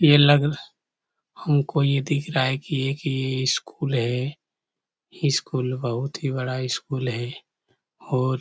यह लगल हमको यह दिख रहा है कि यह कि स्कूल है यह स्कूल बहुत ही बड़ा स्कूल है और--